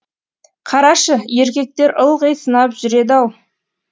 қарашы еркектер ылғи сынап жүреді ау